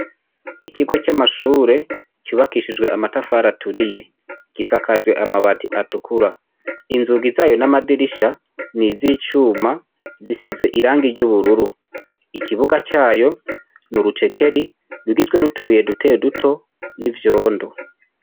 Ikigo c'amashuri cubakishijwe amatafari aturiye gisakajwe amabati atukura. Inzugi zayo n'amadirisha n'izicuma zisize irangi ry'ubururu. Ikibuga cayo nurutekeri rugizwe nutubuye duto duto ni vyondo.